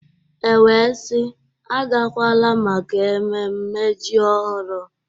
E wee sị, agakwala maka ememme ji ọhụrụ!